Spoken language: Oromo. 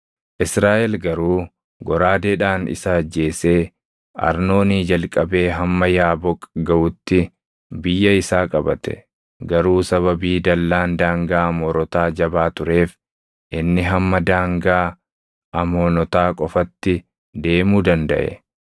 Israaʼel garuu goraadeedhaan isa ajjeesee Arnoonii jalqabee hamma Yaaboq gaʼutti biyya isaa qabate; garuu sababii dallaan daangaa Amoorotaa jabaa tureef inni hamma daangaa Amoonotaa qofatti deemuu dandaʼe.